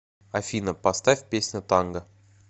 афина поставь песня танго